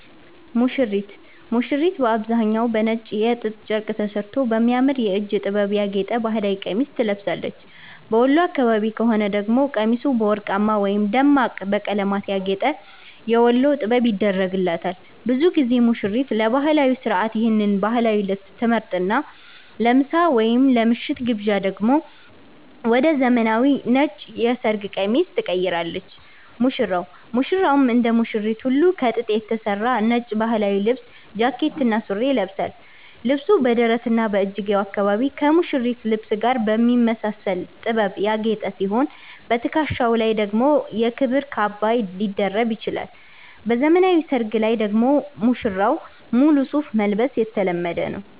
ሙሽሪት፦ ሙሽሪት በአብዛኛው በነጭ የጥጥ ጨርቅ ተሠርቶ በሚያምር የእጅ ጥበብ ያጌጠ ባህላዊ ቀሚስ ትለብሳለች። በወሎ አካባቢ ከሆነ ደግሞ ቀሚሱ በወርቅማ ወይም ደማቅ በቀለማት ያጌጠ "የወሎ ጥበብ" ይደረግላታል። ብዙ ጊዜ ሙሽሪት ለባህላዊው ሥርዓት ይህን ባህላዊ ልብስ ትመርጥና፣ ለምሳ ወይም ለምሽቱ ግብዣ ደግሞ ወደ ዘመናዊው ነጭ የሰርግ ቀሚስ ትቀይራለች። ሙሽራው፦ ሙሽራውም እንደ ሙሽሪት ሁሉ ከጥጥ የተሠራ ነጭ ባህላዊ ልብስ (ጃኬትና ሱሪ) ይለብሳል። ልብሱ በደረትና በእጅጌው አካባቢ ከሙሽሪት ልብስ ጋር በሚመሳሰል ጥበብ ያጌጠ ሲሆን፣ በትከሻው ላይ ደግሞ የክብር ካባ ሊደርብ ይችላል። በዘመናዊ ሰርግ ላይ ደግሞ ሙሽራው ሙሉ ሱፍ መልበስ የተለመደ ነው።